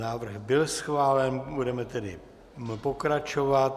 Návrh byl schválen, budeme tedy pokračovat.